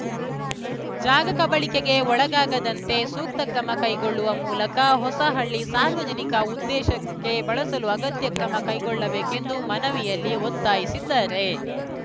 ಜಾಗ ಕಬಳಿಕೆಗೆ ಒಳಗಾಗದಂತೆ ಸೂಕ್ತ ಕ್ರಮ ಕೈಗೊಳ್ಳುವ ಮೂಲಕ ಹೊಸಹಳ್ಳಿ ಸಾರ್ವಜನಿಕ ಉದ್ದೇಶಕ್ಕೆ ಬಳಸಲು ಅಗತ್ಯ ಕ್ರಮ ಕೈಗೊಳ್ಳಬೇಕೆಂದು ಮನವಿಯಲ್ಲಿ ಒತ್ತಾಯಿಸಿದ್ದಾರೆ